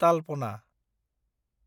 तालपना